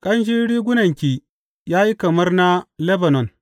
Ƙanshin rigunanki ya yi kamar na Lebanon.